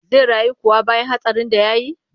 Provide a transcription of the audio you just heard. Zai rayu kuwa bayan hatsarin da ya yi?